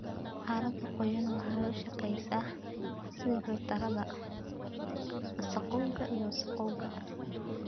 Carrada qoyan waxay u shaqeysaa sidii filtarrada, wasakhowga iyo wasakhowga.